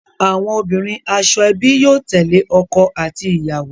Awọn obinrin ashoebi yóò tẹle ọkọ ati iyawo.